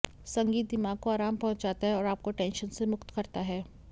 संगीत दिमाग को आराम पहुँचाता है और आपको टेंशन से मुक्त करता है